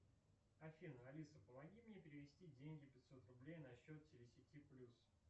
афина алиса помоги мне перевести деньги пятьсот рублей на счет телесети плюс